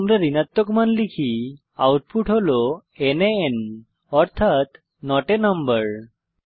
যদি আমরা ঋণাত্মক সংখ্যা লিখি আউটপুট হল নান অর্থাত নট a নাম্বার